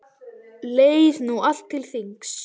Leið nú allt til þings.